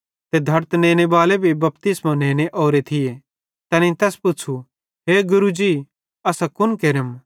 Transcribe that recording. ते धड़त नेनेबाले भी बपतिस्मो नेने ओरे थिये तैनेईं तैस पुच़्छ़ू हे गुरू जी असां कुन केरम